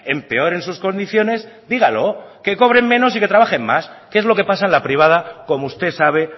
empeoren sus condiciones dígalo que cobren menos y que trabajen más que es lo que pasa en la privada como usted sabe